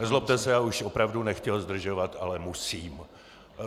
Nezlobte se, já už opravdu nechtěl zdržovat, ale musím.